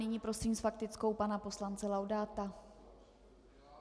Nyní prosím s faktickou pana poslance Laudáta.